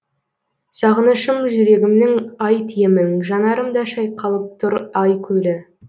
сағынышым жүрегімнің айт емін жанарымда шайқалып тұр ай көлі